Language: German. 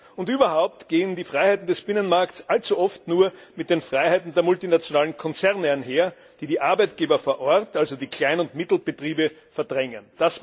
Und überhaupt gehen die Freiheiten des Binnenmarkts allzu oft nur mit den Freiheiten der multinationalen Konzerne einher, die die Arbeitgeber vor Ort, also die Klein und Mittelbetriebe verdrängen.